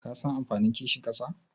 Kasan amfanin kishin ƙasa?